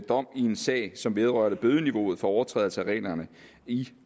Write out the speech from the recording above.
dom i en sag som vedrørte bødeniveauet for overtrædelse af reglerne i